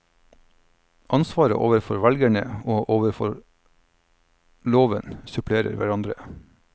Ansvaret overfor velgerne og overfor loven supplerer hverandre.